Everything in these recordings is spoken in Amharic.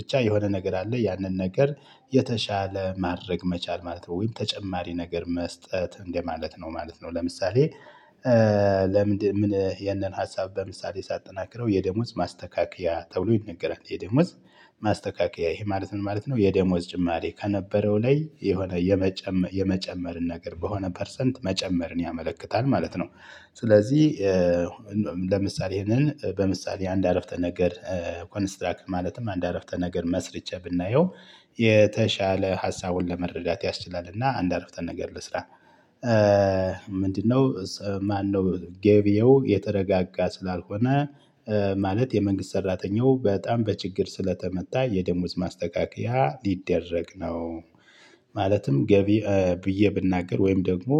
ብቻ የሆነ ነገር አለ ያንን ነገር የተሻለ ማድረግ መቻል ማለት ነው ወይም ተጨማሪ ነገር መስጠት እንደማለት ነው ማለት ነው። ለምሳሌ ለምንድነው? ይህንን ሀሳብ በምሳሌ ሳጠናክረው የደሞዝ ማስተካከያ ተብሎ ይነገራል የደሞዝ ማስተካከያ ይሄ ማለት ምን ማለት ነው? የደሞዝ ጭማሪ ከነበረው ላይ የሆነ የመጨመር የመጨመርን ነገር በሆነ ፐርሰንት መጨመርን ያመለክታል ማለት ነው። ስለዚህ ለምሳሌ ይሄንን በምሳሌ አንድ አረፍተ ነገር ኮንስትራክ ማለትም አንድ አረፍተ ነገር መስርቼ ብናየው። የተሻለ ሀሳቡን ለመረዳት ያስችላል እና አንድ አረፍተ ነገር ልስራ ምንድነው? ማነው ገበየው የተረጋጋ ስላልሆነ። ማለት የመንግስት ሰራተኛው በጣም በችግር ስለተመታ የደሞዝ ማስተካከያ ሊደረግ ነው። ማለትም ገቢ ብዬ ብናገር ወይም ደግሞ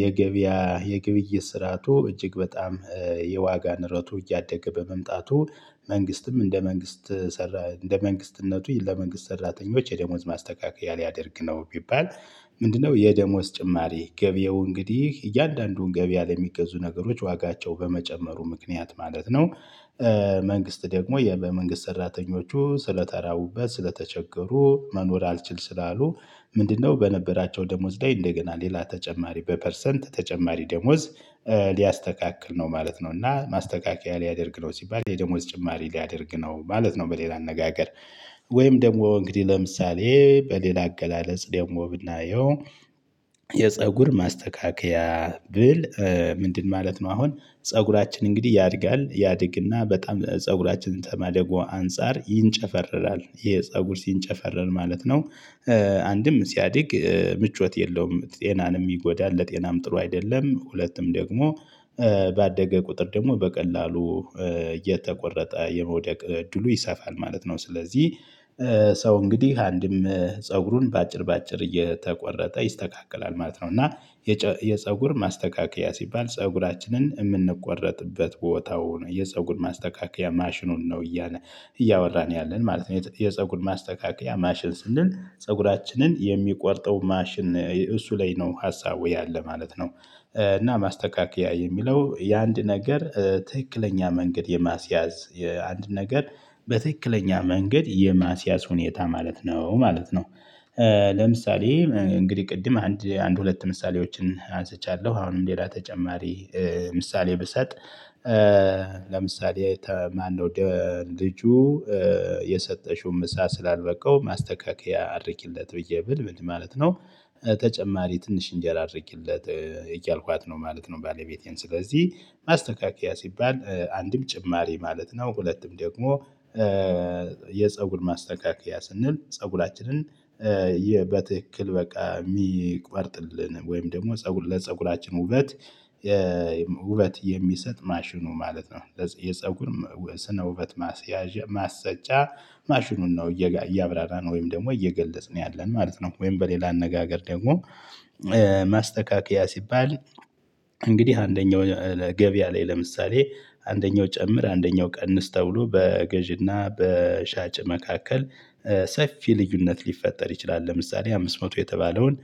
የገበያ የግብይት ስራቱ እጅግ በጣም የዋጋ ንረቱ እያደገ በመምጣቱ። መንግስትም እንደ መንግስት ሰራ እንደ መንግስትነቱ ለመንግስት ሰራተኞች የደሞዝ ማስተካከያ ሊያደርግ ነው ቢባል። ምንድነው? የደሞዝ ጭማሪ ገበያው እንግዲህ እያንዳንዱን ገበያ ላይ ለሚገዙ ነገሮች ዋጋቸው በመጨመሩ ምክንያት ማለት ነው። መንግስት ደግሞ የመንግስት ሰራተኞቹ ስለተራቡበት ስለተቸገሩ መኖር አልችል ስላሉ። ምንድነው? በነበራቸው ደሞዝ ላይ እንደገና ሌላ ተጨማሪ በፐርሰንት ተጨማሪ ደሞዝ ሊያስተካክል ነው ማለት ነው። እና ማስተካከያ ሊያደርግ ነው ሲባል የደሞዝ ጭማሪ ሊያደርግ ነው ማለት ነው በሌላ አነጋገር። ወይም ደግሞ እንግዲህ ለምሳሌ በሌላ አገላለጽ ደግሞ ብናየው የፀጉር ማስተካከያ ብል። ምንድን? ማለት ነው አሁን ፀጉራችን እንግዲህ ያድጋል ያድግና በጣም ፀጉራችንን ከማደጎ አንፃር ይንጨፈረራል ይሄ ፀጉር ሲንጨፈረር ማለት ነው። አንድም ሲያድግ ምቾት የለውም ጤናን የሚጎዳ ለጤናም ጥሩ አይደለም ሁለቱም ደግሞ ባደገ ቁጥር ደግሞ በቀላሉ እየተቆረጠ የመውደቅ እድሉ ይሰፋል ማለት ነው። ስለዚህ ሰው እንግዲህ አንድም ፀጉሩን በአጭር በአጭር እየተቆረጠ ይስተካከላል ማለት ነው። እና የፀጉር ማስተካከያ ሲባል ፀጉራችንን የምንቆረጥበት ቦታውን የፀጉር ማስተካከያ ማሽኑን ነው እያለ እያወራን ያለን ማለት ነው። የፀጉር ማስተካከያ ማሽን ስንል ፀጉራችንን የሚቆርጠው ማሽን እሱ ላይ ነው ሀሳቡ ያለ ማለት ነው። እና ማስተካከያ የሚለው የአንድ ነገር ትክክለኛ መንገድ የማስያዝ አንድ ነገር በትክክለኛ መንገድ የማስያዝ ሁኔታ ማለት ነው ማለት ነው። ለምሳሌ እንግዲህ ቅድም አንድ አንድ ሁለት ምሳሌዎችን አንስቻለሁ አሁንም ሌላ ተጨማሪ ምሳሌ ብሰጥ ለምሳሌ ማነው? ልጁ የሰጠሽው ምሳ ስላልበቃው ማስተካከያ አድርጊለት ብዬ ብል ምን ማለት ነው? ተጨማሪ ትንሽ እንጀራ አድርጊለት እያልኳት ነው ማለት ነው። ባለቤቴን ስለዚህ ማስተካከያ ሲባል አንድም ጭማሪ ማለት ነው። ሁለቱም ደግሞ የፀጉር ማስተካከያ ስንል ፀጉራችንን ይህ በትክክል በቃ የሚቆርጥልን ወይም ደግሞ ለፀጉራችን ውበት ውበት የሚሰጥ ማሽኑ ማለት ነው። የፀጉር ስነ ውበት ማስያዣ ማሰጫ ማሽኑን ነው እያብራራን ወይም ደግሞ እየገለጽን ያለን ማለት ነው ወይም በሌላ አነጋገር ደግሞ። ማስተካከያ ሲባል እንግዲህ አንደኛው ገቢያ ላይ ለምሳሌ አንደኛው ጨምር አንደኛው ቀንስ ተብሎ በገዢና በሻጭ መካከል ሰፊ ልዩነት ሊፈጠር ይችላል። ለምሳሌ አምስት መቶ የተባለውን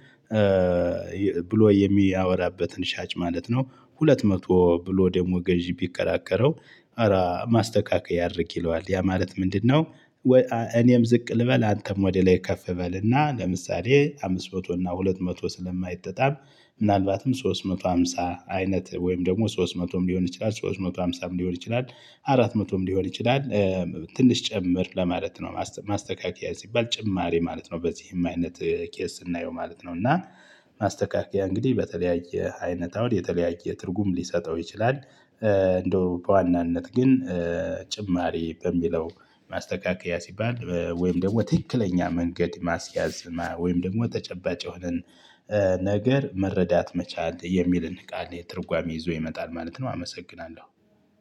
ብሎ የሚያወራበትን ሻጭ ማለት ነው። ሁለት መቶ ብሎ ደግሞ ገዢው ቢከራከረው። አራ ማስተካከያ አድርግ ይለዋል ያ ማለት ምንድነው? እኔም ዝቅ ልበል አንተም ወደ ላይ ከፍ በል እና ለምሳሌ አምስት መቶ እና ሁለት መቶ ስለማይጠጣም ምናልባትም ሶስት መቶ ሃምሳ አይነት ወይም ደግሞ ሶስት መቶም ሊሆን ይችላል ሶስት መቶ ሃምሳም ሊሆን ይችላል። አራት መቶም ሊሆን ይችላል። ትንሽ ጨምር ለማለት ነው ማስተካከያ ሲባል ጭማሪ ማለት ነው። በዚህም አይነት ኬዝ ስናየው ማለት ነው እና ማስተካከያ እንግዲህ በተለያየ አይነት አሁን የተለያየ ትርጉም ሊሰጠው ይችላል። እንደው በዋናነት ግን ጭማሪ በሚለው ማስተካከያ ሲባል ወይም ደግሞ ትክክለኛ መንገድ ማስያዝ ወይም ደግሞ ተጨባጭ የሆነን ነገር መረዳት መቻል የሚልን ቃል ላይ ትርጓሜ ይዞ ይመጣል ማለት ነው። አመሰግናለሁ።